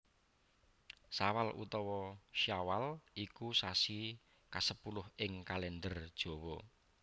Sawal utawa Syawal iku sasi kasepuluh ing Kalèndher Jawa